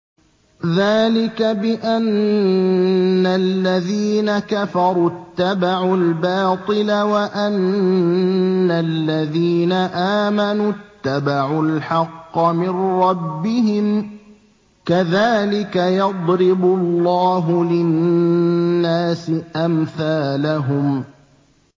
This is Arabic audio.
ذَٰلِكَ بِأَنَّ الَّذِينَ كَفَرُوا اتَّبَعُوا الْبَاطِلَ وَأَنَّ الَّذِينَ آمَنُوا اتَّبَعُوا الْحَقَّ مِن رَّبِّهِمْ ۚ كَذَٰلِكَ يَضْرِبُ اللَّهُ لِلنَّاسِ أَمْثَالَهُمْ